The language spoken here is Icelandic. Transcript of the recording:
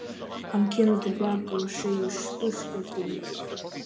Hann kemur til baka og segir spurt eftir mér.